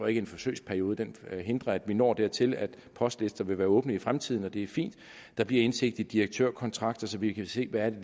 en forsøgsperiode hindrer at vi når dertil at postlister vil være åbne i fremtiden og det er fint der bliver indsigt i direktørkontrakter så vi kan se hvad det